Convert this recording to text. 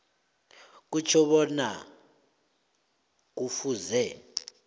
kutjho bona kufuze